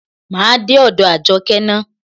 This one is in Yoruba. Máa dé ọ̀dọ̀ Àjọkẹ́ ná.